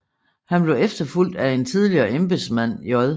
Han blev efterfulgt af en tidligere embedsmand J